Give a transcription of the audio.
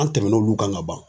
An tɛmɛn'olu kan ka ban.